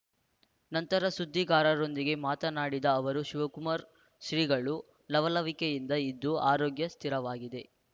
ನಂತರ ಸುದ್ದಿಗಾರರೊಂದಿಗೆ ಮಾತನಾಡಿದ ಅವರು ಶಿವಕುಮಾರ್ ಶ್ರೀಗಳು ಲವಲವಿಕೆಯಿಂದ ಇದ್ದು ಆರೋಗ್ಯ ಸ್ಥಿರವಾಗಿದೆ